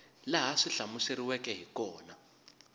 laha swi hlamuseriweke hi kona